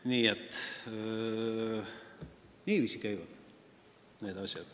Nii et niiviisi käivad need asjad.